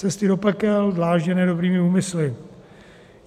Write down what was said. Cesty do pekel dlážděné dobrými úmysly.